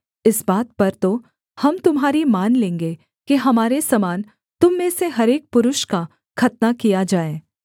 इस बात पर तो हम तुम्हारी मान लेंगे कि हमारे समान तुम में से हर एक पुरुष का खतना किया जाए